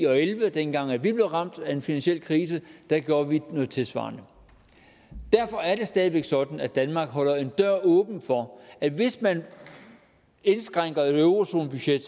og elleve dengang vi blev ramt af en finansiel krise der gjorde vi noget tilsvarende derfor er det stadig sådan at danmark holder en dør åben for at hvis man indskrænker et eurozonebudget